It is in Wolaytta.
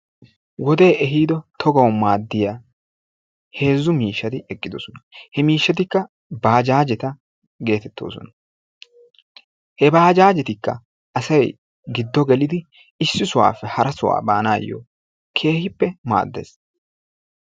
Wodee ehiido tagawu maaddiya heezzu miishshati eqqidosona. He miishshatikka baajaajeta geetettoosona. He baajaajetikka asayi giddo gelidi issi sohuwappe hara sohuwa baannaayyo keehippe maaddes.